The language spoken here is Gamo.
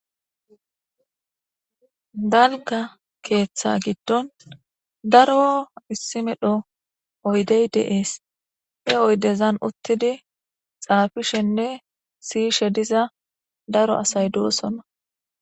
dalga keeththa giddon daro issi medho oydey de'es e oydezan uttidi xaafishenne siyishe diza daro asay doosonna